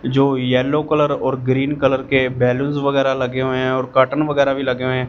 जो yellow colour और green colour के बैलूंस वगैरा लगे हुए हैं और कर्टन वगैरा भी लगे हुए हैं।